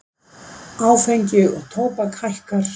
Áfengi og tóbak hækkar